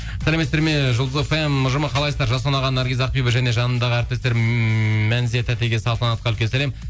сәлеметсіздер ме жұлдыз фм ұжымы қалайсыздар жасұлан аға наргиз ақбибі және жанымдағы әріптестер ммм мәнзия татеге салтанатқа үлкен сәлем